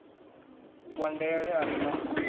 wa ndele a re na